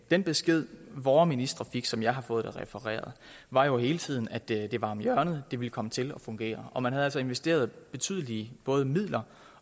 den besked vore ministre fik sådan som jeg har fået det refereret var jo hele tiden at det lå om hjørnet at det ville komme til at fungere og man havde altså investeret betydelige både midler